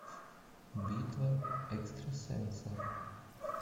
битва экстрасенсов